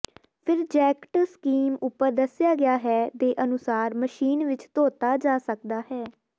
ਫਿਰ jacket scheme ਉਪਰ ਦੱਸਿਆ ਗਿਆ ਹੈ ਦੇ ਅਨੁਸਾਰ ਮਸ਼ੀਨ ਵਿੱਚ ਧੋਤਾ ਜਾ ਸਕਦਾ ਹੈ